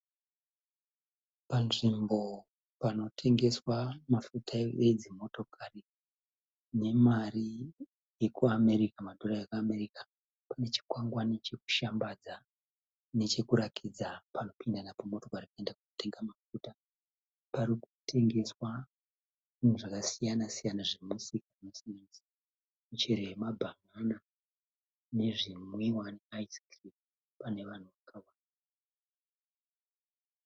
Panzvimbo panotengeswa mafuta edzimotokari nemari yekuAmerika, madhora ekuAmerika. Pane chikwangwane chirikushambadza nechekurakidza paunopinda napo motokari kuenda kunotenga mafuta. Parikutengeswa zvinhu zvakasiyana zvinosanganisira michero yamabhanana nezvinwiwa neiyiskirimu, pane vanhu vakawanda.